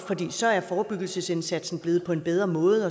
altså at forebyggelsesindsatsen er blevet på en bedre måde